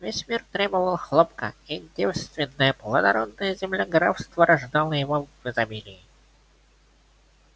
весь мир требовал хлопка и девственная плодородная земля графства рождала его в изобилии